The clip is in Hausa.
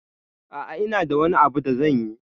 A'a, ina da wani abu da zanyi.